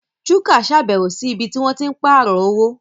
Chuka ṣàbẹ̀wò sí ibi tí wọ́n ti ń pààrọ̀ owó